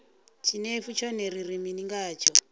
tshinefu tshone ri ri mini ngatsho